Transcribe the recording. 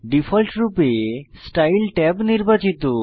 ডিফল্টরূপে style tab নির্বাচিত